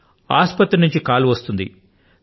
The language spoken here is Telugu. మరొక్క మారు ఆసుపత్రి నుండి ఫోన్ చేస్తారు